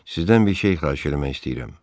Sizdən bir şey xahiş eləmək istəyirəm.